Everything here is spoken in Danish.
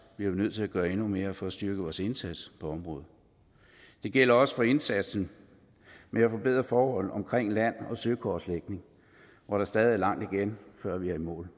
vi nødt til at gøre endnu mere for at styrke vores indsats på området det gælder også indsatsen med at forbedre forholdet omkring land og søkortlægningen hvor der stadig er langt igen før vi er i mål